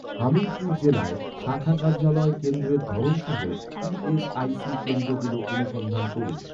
হামিরপুর জেলায় শাখা কার্যালয় কেন্দ্রের ধরন সহ, ই.এস.আই.সি কেন্দ্রগুলো অনুসন্ধান করুন